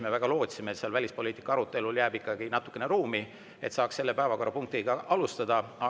Me väga lootsime, et välispoliitika arutelu järele jääb ikkagi natukene ruumi, et saaks selle päevakorrapunkti alustada.